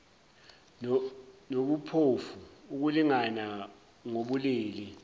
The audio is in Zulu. nobuphofu ukulingana ngobulili